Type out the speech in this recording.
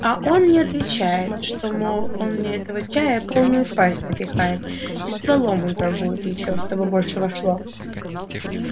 а он мне отвечает что мол он мне этого чая полную пасть напихает и стволом утрамбует ещё чтобы больше вошло